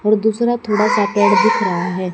और दूसरा थोड़ा सा पेड़ दिख रहा है।